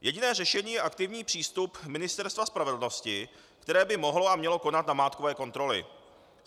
Jediné řešení je aktivní přístup Ministerstva spravedlnosti, které by mohlo a mělo konat namátkové kontroly.